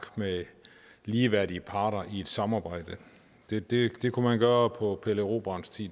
med ligeværdige parter i et samarbejde det det kunne man gøre på pelle erobrerens tid